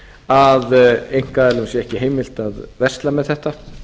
að einkaaðilum sé ekki heimilt að versla með þetta